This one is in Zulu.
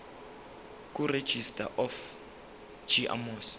kuregistrar of gmos